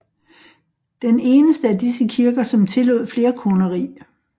Den eneste af disse kirker som tillod flerkoneri